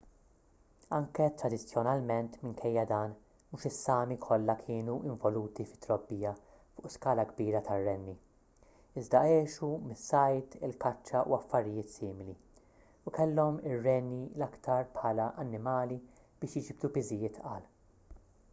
anke tradizzjonalment minkejja dan mhux is-sámi kollha kienu involuti fit-trobbija fuq skala kbira tar-renni iżda għexu mis-sajd il-kaċċa u affarijiet simili u kellhom ir-renni l-aktar bħala annimali biex jiġbdu piżijiet tqal